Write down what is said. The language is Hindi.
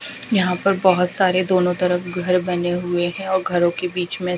यहां पर बहोत सारे दोनों तरफ घर बने हुए हैं औ घरों के बीच में--